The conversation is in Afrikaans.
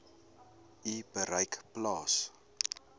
u bereik plaas